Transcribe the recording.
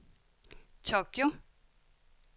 Tokyo